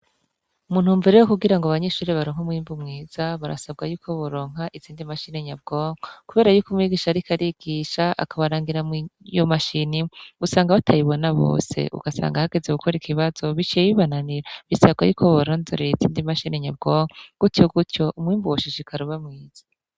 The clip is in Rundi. Umuntu wmbere yo kugira ngo abanyishuri baronka umwimbu mwiza barasabwa yuko buronka itsindi mashinenyabwonke, kubera yuko umwigisha, ariko arigisha akabarangira mwyo mashini usanga abatayibona bose ugasanga ahageze gukora ikibazo bicebibananira bisarwa yuko bronzoreye isindi mashinenyabwonko gutyo gutyo umwimbu woshishikara uba mwiza.